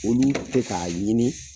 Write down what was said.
Olu te ka ɲini